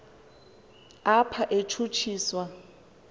apha utshutshi swa